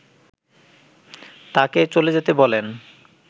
তাকে চলে যেতে বলেন